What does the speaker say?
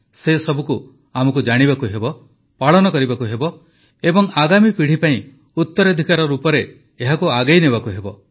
ସେସବୁକୁ ଆମକୁ ଜାଣିବାକୁ ହେବ ପାଳନ କରିବାକୁ ହେବ ଏବଂ ଆଗାମୀ ପିଢ଼ି ପାଇଁ ଉତ୍ତରାଧିକାର ରୂପରେ ଏହାକୁ ଆଗେଇ ନେବାକୁ ହେବ